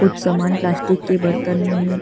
कुछ सामान प्लास्टिक के बर्तन में है।